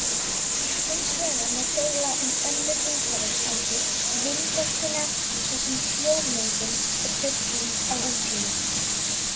Hins vegar má deila um önnur umhverfisáhrif vindorkunnar svo sem hljóðmengun og truflun á útsýni.